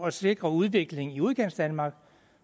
at sikre udvikling i udkantsdanmark